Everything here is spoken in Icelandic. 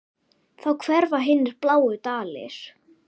Þá hverfa hinir bláu dalir.